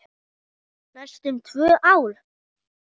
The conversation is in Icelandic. Næstum tvö ár!